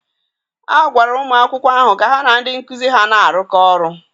a gwara ụmụ akwụkwọ ahụ ka ha na ndị nkụzi ha na-arụkọ ọrụ.